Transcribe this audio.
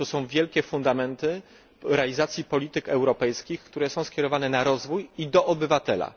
Są to wielkie fundamenty realizacji polityk europejskich, które są skierowane na rozwój i w stronę obywatela.